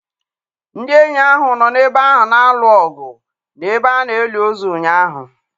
Ndị enyi ahụ nọ n'ebe ahụ na-alụ ọgụ n'ebe a na-eli ozu ụnyaahụ.